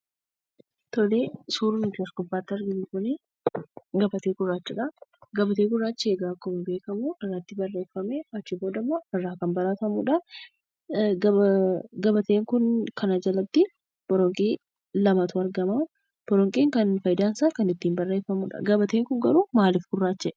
Suurri nuti as gubbaatti arginu kun gabatee gurraachadha. Gabateen gurraachi egaa akkuma beekamu irratti barreeffamee achii boodammoo kan balleeffamudha. Gabatee kana jalatti boronqii lamatu argama. Boronqiin fayidaan isaa kan ittiin barreeffamudha. Gabateen kun garuu maaliif gurraacha'ee?